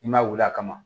I m'a wili a kama